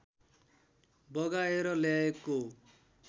बगाएर ल्याएको